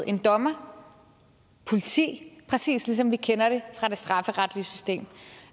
en dommer politi præcis ligesom vi kender det fra det strafferetlige system